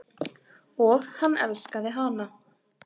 Og hann elskaði hana.